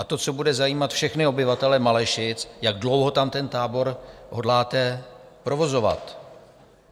A to, co bude zajímat všechny obyvatele Malešic, jak dlouho tam ten tábor hodláte provozovat.